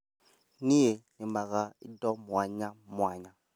Niĩ nĩmaga indo mwanya mwanya